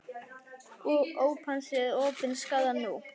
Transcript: Óp hans er opin skárra nú.